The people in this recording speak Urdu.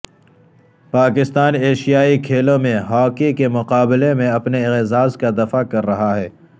پاکستان ایشیائی کھیلوں میں ہاکی کے مقابلوں میں اپنے اعزاز کا دفاع کر رہا ہے